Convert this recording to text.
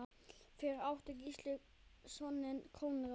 Fyrir átti Gísli soninn Konráð.